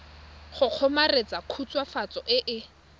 go kgomaretsa khutswafatso e e